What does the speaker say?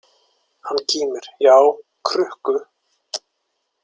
Hann kímir: Já, krukku.